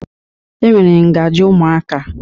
E nwere ngajị ụmụaka.